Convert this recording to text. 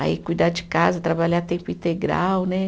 Aí cuidar de casa, trabalhar tempo integral, né?